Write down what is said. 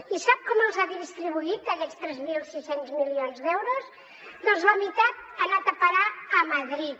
i sap com els ha distribuït aquests tres mil sis cents milions d’euros doncs la meitat ha anat a parar a madrid